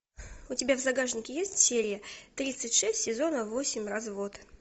у тебя в загашнике есть серия тридцать шесть сезона восемь развод